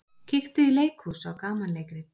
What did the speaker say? Kíktu í leikhús á gamanleikrit.